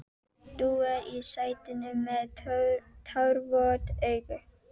Dúar í sætinu með tárvot augu.